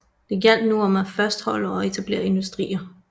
Det gjaldt nu om af fastholde og etablere industrier